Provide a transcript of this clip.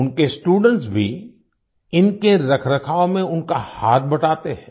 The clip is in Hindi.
उनके स्टूडेंट्स भी इनके रखरखाव में उनका हाथ बटाते हैं